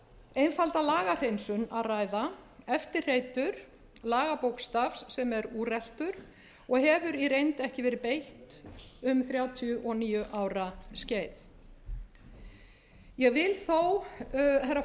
einfalda lagahreinsun að ræða eftirhreytur lagabókstafs sem er úreltur og hefur í reynd ekki verið beitt um þrjátíu og níu ára skeið ég vil